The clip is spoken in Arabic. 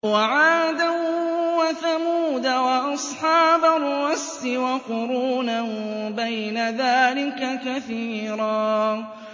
وَعَادًا وَثَمُودَ وَأَصْحَابَ الرَّسِّ وَقُرُونًا بَيْنَ ذَٰلِكَ كَثِيرًا